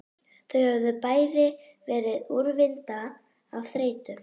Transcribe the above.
Þau höfðu bæði verið úrvinda af þreytu.